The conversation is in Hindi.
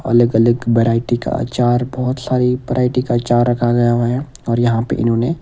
अलग अलग वैरायटी का अचार बहोत सारी वैरायटी का अचार रखा गया है और यहां पर इन्होंने --